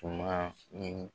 Tun ma ɲini